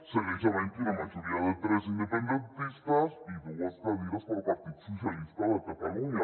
segueix havent hi una majoria de tres independentistes i dues cadires per al partit socialista de catalunya